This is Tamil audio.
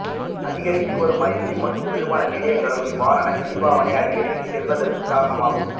அதிகரித்து வரும் ஐஸ்கிறீம் மற்றும் குளிர்பான நிலையங்களும் இவ்வாறான சீனிப்பாவனை அதிகரித்துச்செல்வதற்குக் காரணமாகும்